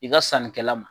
I ka sannikɛla ma